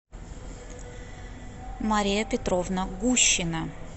мария петровна гущина